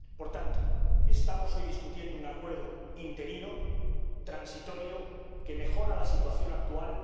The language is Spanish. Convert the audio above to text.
Por tanto, estamos debatiendo hoy un acuerdo interino, transitorio, que mejora la situación actual.